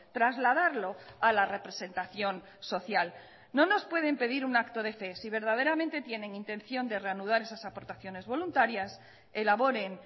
trasladarlo a la representación social no nos pueden pedir un acto de fe si verdaderamente tienen intención de reanudar esas aportaciones voluntarias elaboren